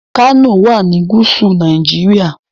Kano wà ní gúúsù Nàìjíríà.